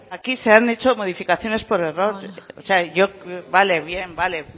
aquí se han hecho modificaciones por error o sea yo vale bien vale